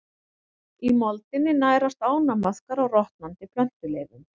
Í moldinni nærast ánamaðkar á rotnandi plöntuleifum.